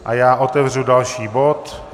A já otevřu další bod.